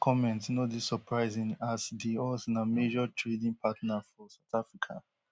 jonas comments no dey surprising as di us na major trading partner for south africa